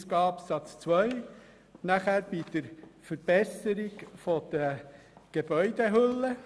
Der zweite Punkt betrifft unter Artikel 40a die Verbesserung der Gebäudehülle.